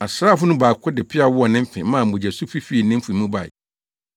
Asraafo no mu baako de ne peaw wɔɔ ne mfe maa mogyasufi fii ne mfe mu bae.